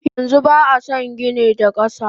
Yanxu ba ason gini da kasa.